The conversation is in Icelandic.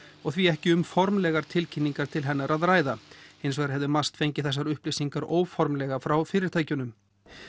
og því ekki um formlegar tilkynningar til hennar að ræða hins vegar hefði MAST fengið þessar upplýsingar óformlega frá fyrirtækjunum